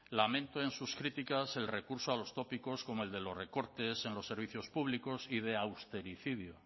lamento en sus críticas el recurso a los tópicos como el de los recortes en los servicios públicos y de austericidio